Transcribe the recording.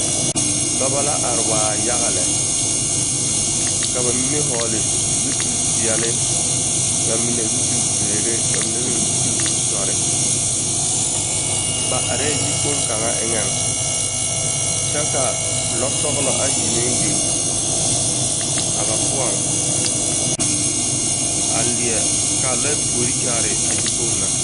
Dͻbͻ la are waa yaga lԑ, ka ba mine vͻgele zupili peԑle, ba mine zupili zeere, ba mine meŋ dͻre. Ba arԑԑ yikpoŋo kaŋa eŋԑŋ kyԑ ka lͻͻ sͻgelͻ ayi meŋ biŋ a ba poͻŋ a leԑ, kaa lͻԑ puori kyaare a yikpoŋ na.